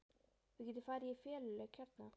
Við getum farið í feluleik hérna!